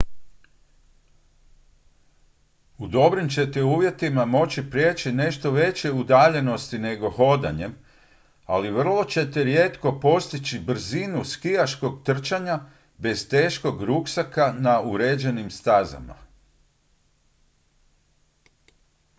u dobrim ćete uvjetima moći prijeći nešto veće udaljenosti nego hodanjem ali vrlo ćete rijetko postići brzinu skijaškog trčanja bez teškog ruksaka na uređenim stazama